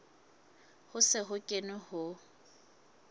ho se ho kenwe ho